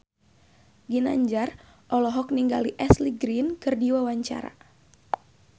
Ginanjar olohok ningali Ashley Greene keur diwawancara